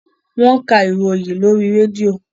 Wọ́n ka ìròyìn lóri rédíò.